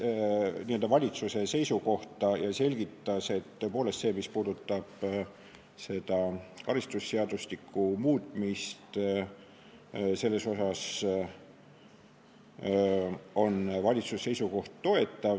Ruth Annus esitas valitsuse seisukoha ja selgitas, et mis puudutab karistusseadustiku muutmist, siis selles osas on valitsuse seisukoht toetav.